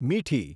મીઠી